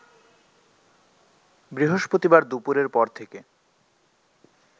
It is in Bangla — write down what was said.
বৃহস্পতিবার দুপুরের পর থেকে